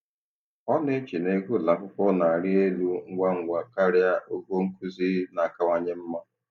Ọ na-eche na ego ụlọ akwụkwọ na-arị elu ngwa ngwa karịa ogo nkuzi na-akawanye mma.